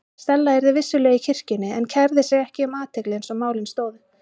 Stella yrði vissulega í kirkjunni en kærði sig ekki um athygli eins og málin stóðu.